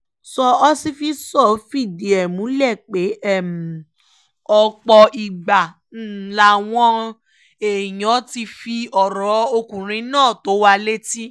sọ ọsifísọ̀ fìdí ẹ̀ múlẹ̀ pé ọ̀pọ̀ ìgbà làwọn èèyàn ti fi ọ̀rọ̀ ọkùnrin yìí tó wa létí